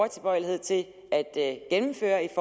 tilbøjelighed til at gennemføre i